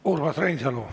Urmas Reinsalu.